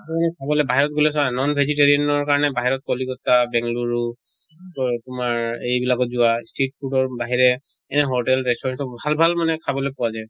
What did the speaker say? খাবলৈ বাহিৰত গলে চোৱা non vegetarian ৰ কাৰণে বাহিৰত কলিকতা, বেংলুৰু ত তোমাৰ এইবিলাকত যোৱা street food ৰ বাহিৰে এনে hotel restaurant ত ভাল ভাল মানে খাবলৈ পোৱা যায়।